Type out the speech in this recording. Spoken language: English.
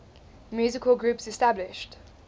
musical groups established